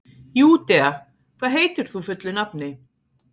Júdea, hvað heitir þú fullu nafni?